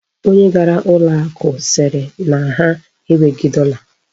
Onye gara ụlọ akụ sịrị na ha enweghị dọla.